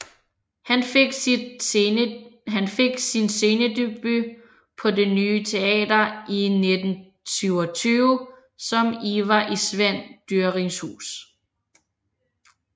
Han fik sin scenedebut på Det Ny Teater i 1927 som Ivar i Svend Dyrings Hus